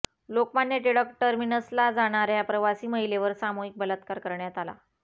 लोकमान्य टिळक टर्मिनसला जाणाऱ्या प्रवासी महिलेवर सामूहिक बलात्कार करण्यात आला